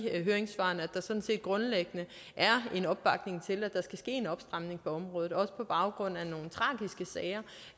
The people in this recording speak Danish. høringssvarene grundlæggende er en opbakning til at der skal ske en opstramning på området også på baggrund